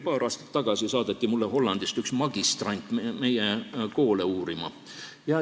Paar aastat tagasi saadeti mulle Hollandist üks magistrant meie koole uurima.